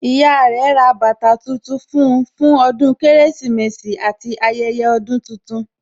Ìyá rẹ ra bàtà tuntun fún un fún ọdún Kérésìmesì àti ayẹyẹ ọdún tuntun